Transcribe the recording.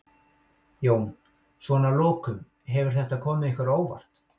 Jón: Svona að lokum, hefur þetta komið ykkur á óvart?